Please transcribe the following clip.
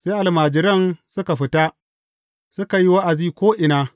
Sai almajiran suka fita, suka yi wa’azi ko’ina.